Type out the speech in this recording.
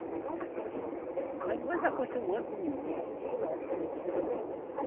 Mas depois acostumando com o menino.